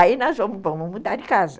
Aí nós vamos vamos mudar de casa.